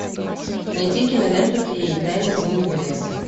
найти киноленту феи тайна зимнего леса